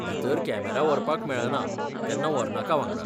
भितर कॅमेरा व्हरपाक मेळना तेन्ना व्हरनाका वांगडा.